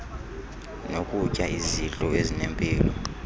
nokutya izidlo ezinempilo